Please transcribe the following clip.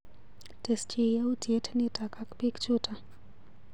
Tesyi yautyet nito ak piik chuto.